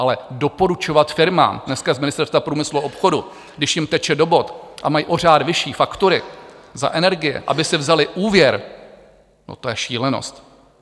Ale doporučovat firmám dneska z Ministerstva průmyslu a obchodu, když jim teče do bot a mají o řád vyšší faktury za energie, aby si vzali úvěr, to je šílenost!